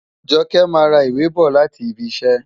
Joke máa ra ìwé bọ̀ láti ibi iṣẹ́.